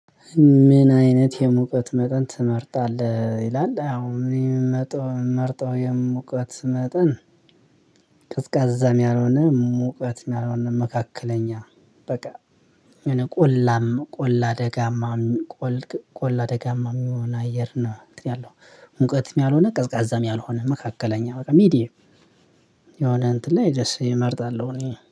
ምን አይነት የሙቀት መጠን ትመርጣለህ ይላል? አዎ እኔ የምመርጠው የምመርጠው የሙቀት መጠን ቀዝቃዛም ያልሆነ ሙቀትም ያልሆነ መካከለኛ በቃ የሆነ ቆላም ቆላ አደጋማ ቆል ቆላ ደጋማ የሚሆን አየር ነው። እንትን ያለው ሙቀትም ያልሆነ ቀዝቃዛም ያልሆነ መካከለኛ በቃ ሚዲየም የሆነ እንትን ላይ ደስ እመርጣለሁ። እኔ